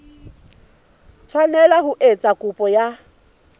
tshwanela ho etsa kopo ya